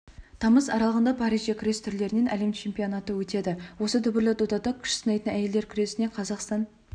тамыз аралығында парижде күрес түрлерінен әлем чемпионаты өтеді осы дүбірлі додада күш сынайтын әйелдер күресінен қазақстан